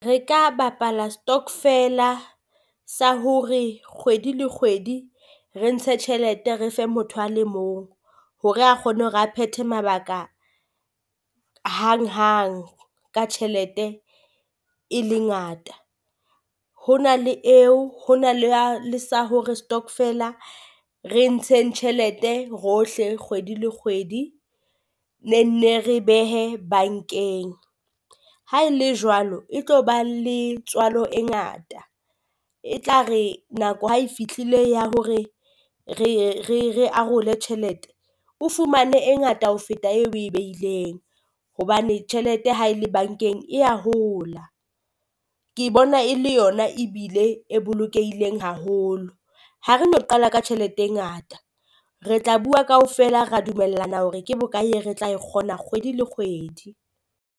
Re ka bapala stockvela sa hore kgwedi le kgwedi re ntshe tjhelete re fe motho a le mong, hore a kgone hore a phethe mabaka hang hang ka tjhelete e le ngata. Ho na le eo ho na le ya le sa hore stokvela re ntsheng tjhelete rohle kgwedi le kgwedi ne nne re e behe bankeng. Ha e le jwalo e tlo ba le tswalo e ngata, e tla re nako ha e fitlile ya hore re ye re re arole tjhelete o fumane e ngata ho feta e oe beileng. Hobane tjhelete ha e le bankeng e ya hola ke bona e le yona ebile e bolokehileng haholo. Ha re no qala ka tjhelete e ngata, re tla bua kaofela ra dumellana hore ke bokae e re tla kgona kgwedi le kgwedi.